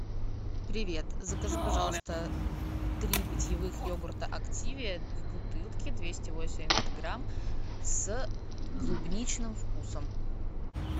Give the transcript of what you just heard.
привет закажи пожалуйста три питьевых йогурта активиа в бутылке двести восемьдесят грамм с клубничным вкусом